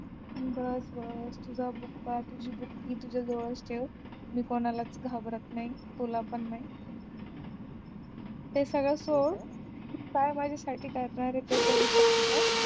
बर बर तुझा बुक्का तुझी बुक्की तुझ्या जवळच ठेव मी कोणालाच घाबरत नाही तुला पण नाही ते सगळं सोड काय माझ्यासाठी करणारे त्याचा विचार कर